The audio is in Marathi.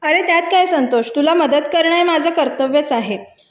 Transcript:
अरे त्यात काय संतोष तुला मदत करणं हे माझं कर्तव्यच आहे